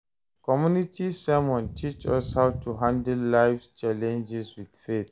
Community sermon teach us how to handle life's challenges with faith.